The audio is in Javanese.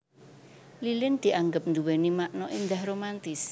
Lilin dianggep nduwéni makna éndah romantis